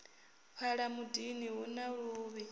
fhala mudini hu na luvhi